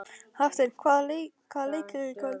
Hafsteinn, hvaða leikir eru í kvöld?